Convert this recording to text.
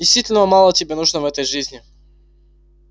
действительно мало тебе нужно в этой жизни